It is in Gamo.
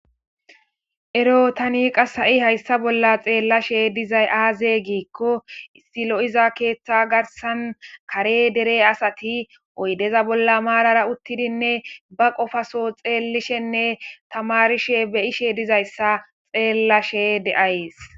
Ero tani ha'i haysa bolla xellashe dizaya aze gikko issi lo'iza kethan garsan kare dere asati oydeza bolla marara uttidine ba qofaso xelishenne tamarishe beyish dizaysa xelashe de'aysi